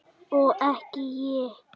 Og ekki ég!